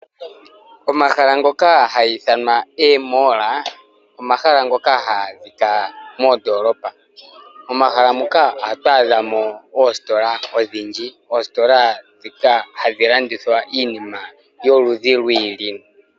Omahala ngono haga ithanwa eemall omahala ngoka haga adhika mondolopa. Momahala muka ohatu adhamo oositola odhindji, oositola ndhika hadhi landithwa iinima yoludhi lwa yooloka.